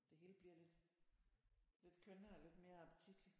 Det hele bliver lidt lidt kønnere og lidt mere appetitligt